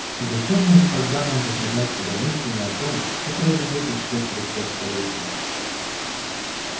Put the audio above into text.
зачем же тогда нам затруднять себя мыслями о том что произойдёт ещё через пять столетий